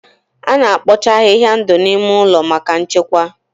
A na-ekpocha ahịhịa ndụ n'ime ụlọ maka nchekwa.